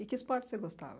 E que esporte você gostava?